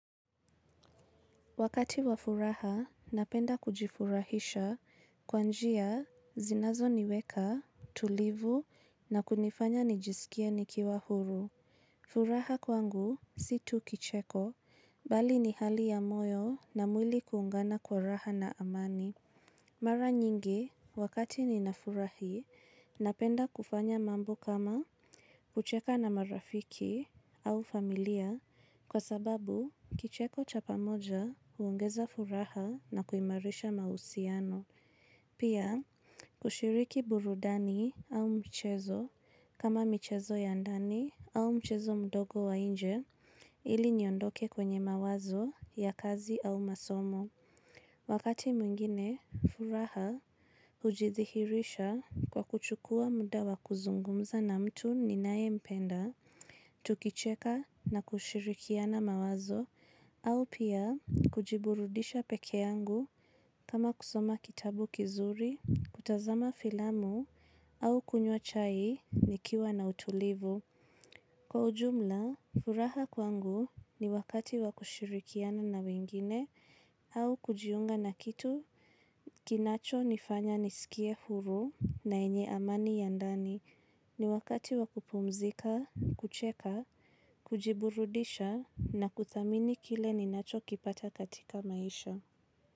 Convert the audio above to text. Wakati wa furaha, napenda kujifurahisha kwanjia zinazo niweka, tulivu na kunifanya nijisikia nikiwa huru. Furaha kwangu, si tu kicheko, bali ni hali ya moyo na mwili kuungana kwa raha na amani. Mara nyingi wakati ninafurahi napenda kufanya mambo kama kucheka na marafiki au familia kwa sababu kicheko cha pamoja uongeza furaha na kuimarisha mausiano. Pia kushiriki burudani au mchezo kama mchezo ya ndani au mchezo mdogo wa inje ili niyondoke kwenye mawazo ya kazi au masomo. Wakati mwingine, furaha hujithirisha kwa kuchukua muda wa kuzungumza na mtu ninaye mpenda, tukicheka na kushirikiana mawazo, au pia kujiburudisha peke yangu kama kusoma kitabu kizuri, kutazama filamu au kunywa chai nikiwa na utulivu. Kwa ujumla, furaha kwangu ni wakati wakushirikiana na wengine, au kujiunga na kitu, kinacho nifanya nisikie huru na enye amani ya ndani, ni wakati wakupumzika, kucheka, kujiburudisha na kuthamini kile ninacho kipata katika maisha.